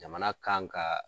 Jamana kan ka